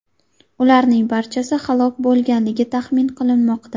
Ularning barchasi halok bo‘lganligi taxmin qilinmoqda.